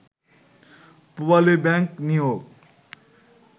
Pubali Bank নিয়োগ